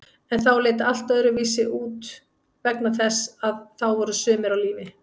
En þá leit allt öðruvísi út vegna þess að þá voru sumir á lífi.